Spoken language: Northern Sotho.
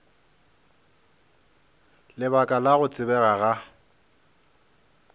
lebaka la go tsebega ga